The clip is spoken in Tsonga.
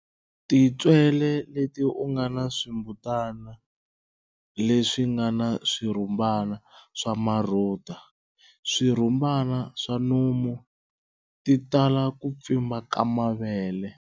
Tintswele leti u nga na swimbutana leswi nga na swirhumbana swa marhuda, swirhumbana swa nomu, ti tala ku pfimba ka mavele.